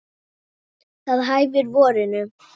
Það hæfir vorinu.